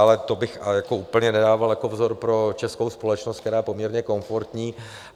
Ale to bych úplně nedával jako vzor pro českou společnost, která je poměrně komfortní.